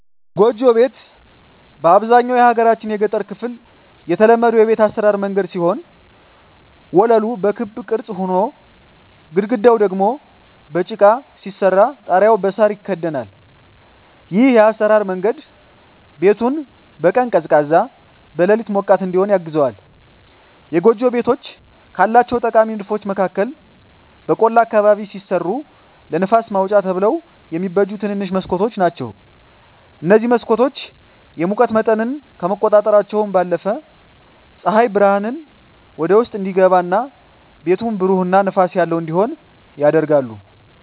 ጎጆ ቤት በአብዛኛው የሀገራችን የገጠር ክፍል የተለመዱ የቤት አሰራር መንገድ ሲሆን ወለሉ በክብ ቅርጽ ሆኖ፣ ግድግዳው ደግሞ በጭቃ ሲሰራ ጣሪያው በሳር ይከደናል። ይህ የአሰራር መንገድ ቤቱን በቀን ቀዝቃዛ፣ በሌሊት ሞቃት እዲሆን ያግዘዋል። የጎጆ ቤቶች ካላቸው ጠቃሚ ንድፎች መካከል በቆላ አካባቢ ሲሰሩ ለንፋስ ማውጫ ተብለው የሚበጁ ትንንሽ መስኮቶች ናቸዉ። እነዚህ መስኮቶች የሙቀት መጠንን ከመቆጣጠራቸው ባለፈም ፀሐይ ብርሃን ወደ ውስጥ እንዲገባ እና ቤቱን ብሩህ እና ንፋስ ያለው እንዲሆን ያደርጋሉ።